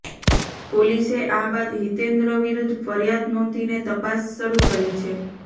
પોલીસે આ બાદ હિતેન્દ્ર વિરુદ્ધ ફરિયાદ નોંધીને તપાસ શરૂ કરી છે